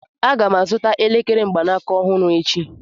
Aga m azụta elekere mgbanaka ọhụrụ echi